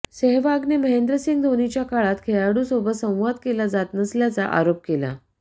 सेहवागने महेंद्र सिंह धोनीच्या काळात खेळाडू सोबत संवाद केला जात नसल्याचा आरोप केला